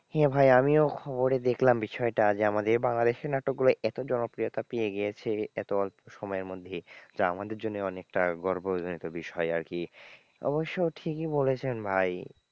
হ্যাঁ ভাই আমিও খবরে দেখলাম বিষয়টা যে আমাদের বাংলাদেশের নাটকগুলো এতো জনপ্রিয়তা পেয়ে গিয়েছে এতো অল্প সময়ের মধ্যে যা আমাদের জন্য অনেকটা গর্ব জনিত বিষয় আরকি অবশ্য ঠিকই বলেছেন ভাই,